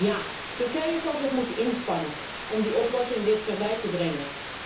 Ja, Turkije zal zich moeten inspannen om die oplossing dichterbij te brengen.